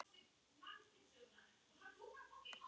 Guð geymi þig, elsku systir.